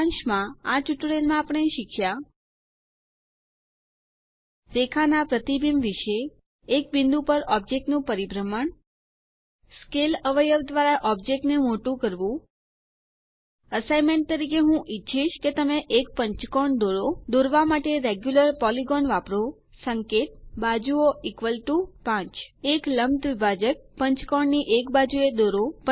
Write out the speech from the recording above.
સારાંશ માં આ ટ્યુટોરીયલ માં આપણે શીખ્યા રેખા ના પ્રતિબિંબ વિશે એક બિંદુ પર ઓબ્જેક્ટ નું પરિભ્રમણ સ્કેલ અવયવ દ્વારા ઑબ્જેક્ટ ને મોટું કરવું અસાઇન્મેન્ટ તરીકે હું ઈચ્છીશ કે તમે એક પંચકોણ દોરો દોરવા માટે રેગ્યુલર પોલિગોન વાપરો સંકેત બાજુઓ 5 એક લંબ દ્વિભાજક પંચકોણ ની એક બાજુ એ દોરો